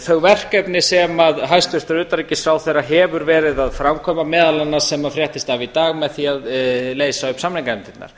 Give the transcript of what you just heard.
verkefni sem hæstvirtur utanríkisráðherra hefur verið að framkvæma meðal annars sem fréttist af í dag með því að leysa upp samninganefndirnar